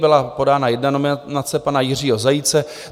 Byla podána jedna nominace pana Jiřího Zajíce.